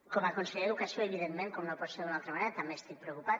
com a conseller d’educació evidentment com no pot ser d’una altra manera també estic preocupat